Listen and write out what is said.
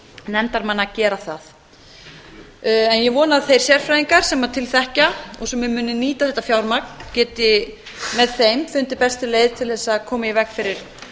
nefndarmanna að gera það ég vona að þeir sérfræðingar sem til þekkja og sem munu nýta þetta fjármagn geti með þeim fundið bestu leið til þess að koma í veg fyrir